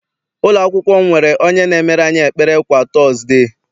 Ụlọakwụkwọ m nwere onye na-emere anyị ekpere kwa tọọzde.